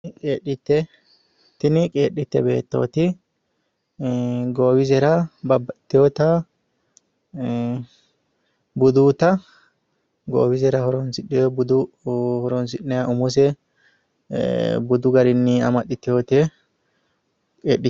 qeedhitte tini qeedhitte beettooti ii goowisera babbaxitewota ii budunnita goowisera horonsidhino budu umose ee umose budu garinni amaxitewote qeedhittete.